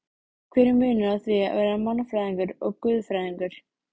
Hver er munurinn á því að vera mannfræðingur og guðfræðingur?